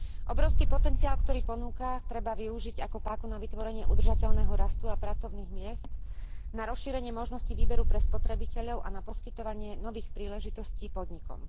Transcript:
Obrovský potenciál, ktorý ponúka, treba využiť ako páku na vytvorenie udržateľného rastu a pracovných miest, na rozšírenie možností výberu pre spotrebiteľov a na poskytovanie nových príležitostí podnikom.